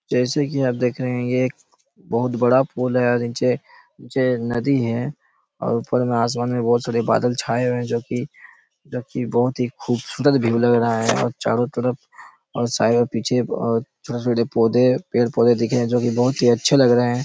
जैसे की आप देख रहे है ये एक बहोत बड़ा पूल है और नीचे नीचे नदी है और ऊपर में आसमान में बहोत सारे बादल छाँए हुए है जो की जो की बहोत खूबसूरत व्यू लग रहा है और चारो तरफ और शायद पीछे अ छोटे-छोटे पौधे पेड़-पौधे दिख रहे है जो की बहोत ही अच्छा लग रहा है।